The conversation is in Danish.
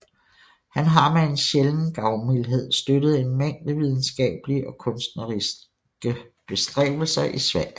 Han har med en sjælden gavmildhed støttet en mængde videnskabelige og kunstneriske bestræbelser i Sverige